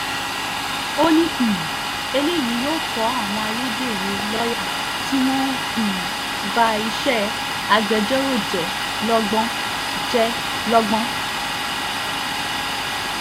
ó ní um eléyìí yóò kó àwọn ayédèrú lọ́ọ́yà tí wọ́n ń um ba iṣẹ́ agbẹjọ́rò jẹ́ lọ́gbọ́n jẹ́ lọ́gbọ́n